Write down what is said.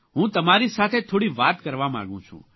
હું તમારી સાથે થોડી વાત કરવા માંગું છું